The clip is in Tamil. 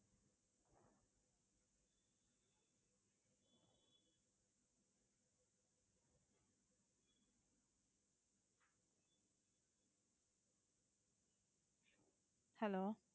hello